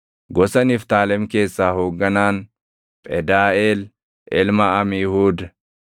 gosa Niftaalem keessaa hoogganaan, Phedaaʼeel ilma Amiihuud.”